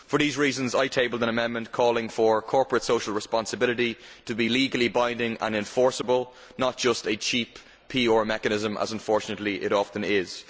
For these reasons I tabled an amendment calling for corporate social responsibility to be legally binding and enforceable, not just a cheap PR mechanism as unfortunately it often is.